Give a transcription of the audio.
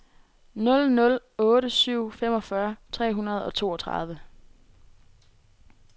nul nul otte syv femogfyrre tre hundrede og toogtredive